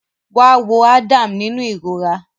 Wá wo Adam nínú ìrora